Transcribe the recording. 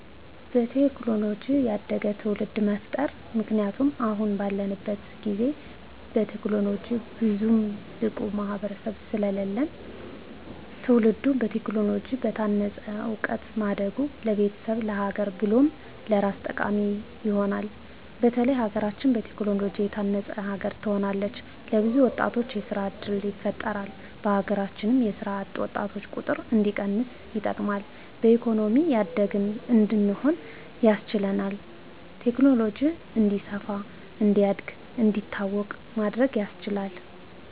በቴክኖሎጂ ያደገ ትዉልድ መፍጠር ምክንያቱም አሁን ባለንበት ጊዜ በቴክኖሎጂ ብዙም ብቁ ማህበረሰብ ስለለለን ትዉልዱ በቴክኖሎጂ በታነፀ እዉቀት ማደጉ ለቤተሰቡ፣ ለሀገር ብሎም ለራሱ ጠቃሚ ይሆናል። በተለይ ሀገራችን በቴክኖሎጂ የታነፀች ሀገር ትሆናለች። ለብዙ ወጣቶች የስራ እድል ይፈጥራል በሀገራችን የስራ አጥ ወጣቶችን ቁጥር እንዲቀንስ ይጠቅማል። በኢኮኖሚ ያደግን እንድንሆን ያስችላል። ቴክኖሎጂ እንዲስፋ፣ እንዲያድግ፣ እንዲታወቅ ማድረግ ያስችላል።